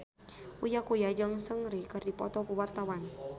Uya Kuya jeung Seungri keur dipoto ku wartawan